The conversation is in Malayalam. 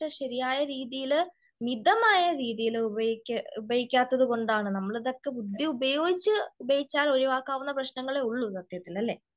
ശെരിയായ രീതിയില് മിതമായ രീതിയില്ഉ പയോഗി ഉപയോഗിക്കാത്തത് കൊണ്ടാണ്.നമ്മളിതൊക്കെ ബുദ്ധി പൂർവം ഉപയോഗിച്ചാൽ ഉപേക്ഷിക്കാവുന്ന പ്രശ്നങ്ങളെ ഉള്ളു ഇതൊക്കെ